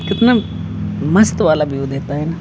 कितना मस्त वाला व्यू देता है ना--